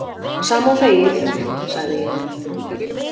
Sama og þegið, sagði ég.